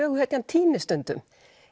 söguhetjan týnist stundum